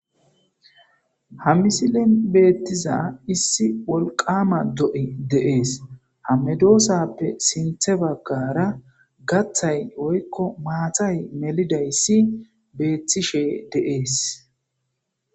Ha misilin beettiza issi wolqama do'i deees hamedoosappe sinthe baggara gatTay oykko maatay melidayssi beettishe deees.